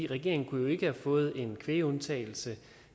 regeringen kunne jo ikke have fået en kvægundtagelse